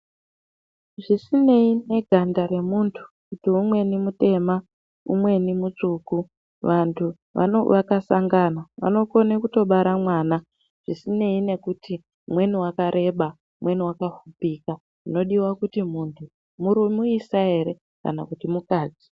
Zvisinei neganda remuntu, kuti umweni mutema, umweni mutsvuku vantu vaka sangana vanotokone kutobara mwana zvisinei nekuti umweni wakareba, umweni wakapfupika chinodiwa kuti munhu muisa ere kana kuti mukadzi.